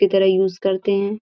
की तरह यूज़ करते हैं।